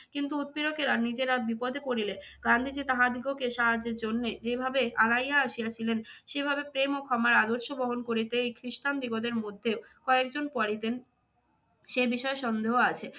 কিন্তু উৎপীড়কেরা নিজেরা বিপদে পড়িলে গান্ধীজী তাহাদিগকে সাহায্যের জন্যে যেভাবে আগাইয়া আসিয়াছিলেন, সেভাবে প্রেম ও ক্ষমার আদর্শ বহন করিতেই খ্রিস্টান দিগদের মধ্যেও কয়েকজন পারিতেন সে বিষয়ে সন্দেহ আছে।